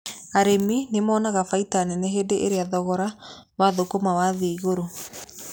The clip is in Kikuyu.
Arĩmi nĩmonaga baita nene hĩndĩ ĩrĩa thogora wa thũkũma wathiĩ igũrũ.